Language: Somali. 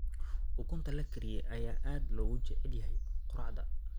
Ukunta la kariyey ayaa aad loogu jecel yahay quraacda.